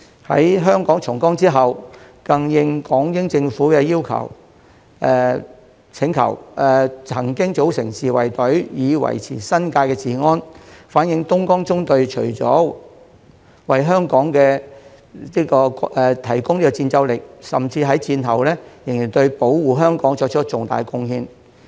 在香港重光之後，更應港英政府的請求，曾經組成自衞隊以維持新界治安，反映東江縱隊除了為香港提供戰鬥力，甚至在戰後仍對保護香港作出重大貢獻。